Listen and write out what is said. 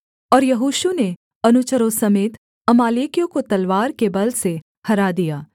और यहोशू ने अनुचरों समेत अमालेकियों को तलवार के बल से हरा दिया